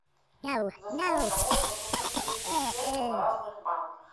за сколько можно купить двести песо в разных банках